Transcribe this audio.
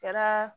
Kɛra